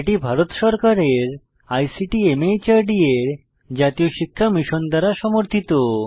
এটি ভারত সরকারের ICT MHRD এর জাতীয় শিক্ষা মিশন দ্বারা সমর্থিত